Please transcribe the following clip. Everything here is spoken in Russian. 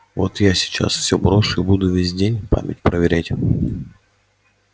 вот я сейчас всё брошу и буду весь день память проверять